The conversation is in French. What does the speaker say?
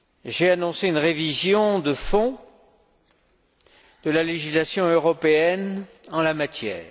J'ai annoncé une révision de fond de la législation européenne en la matière.